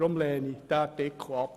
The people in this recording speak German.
Deshalb lehne ich diesen Artikel ab.